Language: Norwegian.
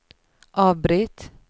avbryt